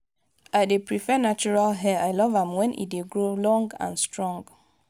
i dey prefer natural hair i love am when e dey grow long and strong.